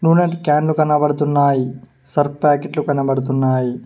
నూనె క్యాన్లు కనబడుతున్నాయి సర్ఫ్ పాకెట్లు కనబడుతున్నాయి.